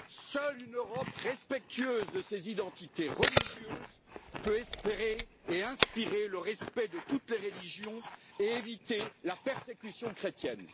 Seule une Europe respectueuse de ses identités religieuses peut espérer et inspirer le respect de toutes les religions et éviter la persécution chrétienne.